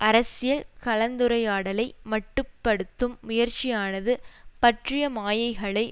அரசியல் கலந்துரையாடலை மட்டுப்படுத்தும் முயற்சியானது பற்றிய மாயைகளை